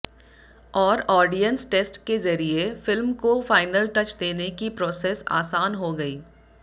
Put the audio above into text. और audience test के जरीये फिल्म को फायनल टच देने की प्रोसेस आसान हो गयी